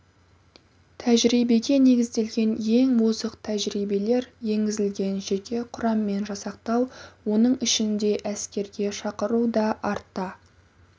тәжірибеге негізделген ең озық тәжірибелер енгізілген жеке құраммен жасақтау оның ішінде әскерге шақыру да артта